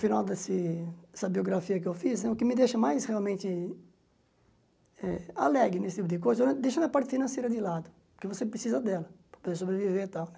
Final desse dessa biografia que eu fiz, o que me deixa mais realmente eh alegre nesse tipo de coisa, eu deixo a parte financeira de lado, porque você precisa dela para poder sobreviver e tal, né?